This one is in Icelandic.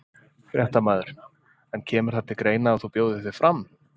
Fréttamaður: En kemur það til greina að þú bjóðir þig fram?